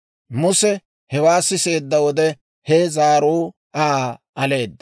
Muse hewaa siseedda wode, he zaaruu Aa aleeda.